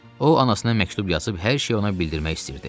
O anasına məktub yazıb hər şeyi ona bildirmək istəyirdi.